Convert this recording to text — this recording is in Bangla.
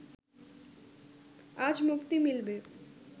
আজ মুক্তি মিলবে